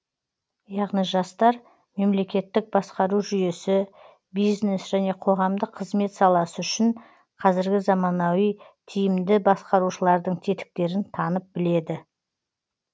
яғни жастар мемлекеттік басқару жүйесі бизнес және қоғамдық қызмет саласы үшін қазіргі заманауи тиімді басқарушылардың тетіктерін танып біледі